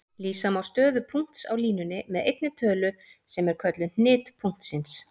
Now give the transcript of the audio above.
Lýsa má stöðu punkts á línunni með einni tölu sem er kölluð hnit punktsins.